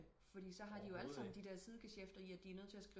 Fordi så har de alle sammen de der side gesjæfter i at de er nødt til at